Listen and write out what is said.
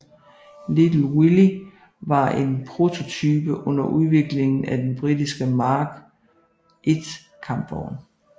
Little Willie var en prototype under udviklingen af den britiske Mark I kampvogn